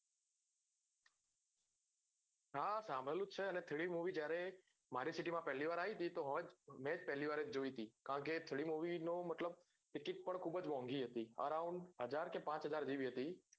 હા સાંભળ્યું જ છે અને three d movie ત્યારે મારી city મા પેલી વાર આવી ને મેજ પેલી વાર જોઈતી કારણ કે એ three d movie નો મતલબ ticket પણ ખુબજ મોગી હતી arround હજાર કે પાંચ હજાર જેવી હતી